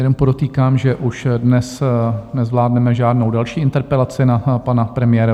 Jenom podotýkám, že už dnes nezvládneme žádnou další interpelaci na pana premiéra.